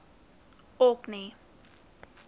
orkney